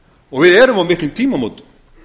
og við erum á miklum tímamótum